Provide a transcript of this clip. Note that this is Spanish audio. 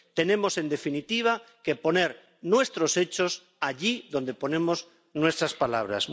Tenemos, en definitiva, que poner nuestros hechos allí donde ponemos nuestras palabras.